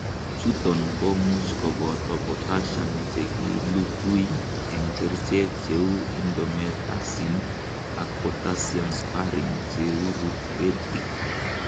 Chuton komuch koboto potassium chekilukui, ak kerichek cheu indomethacin, ak potassium sparing diuretics.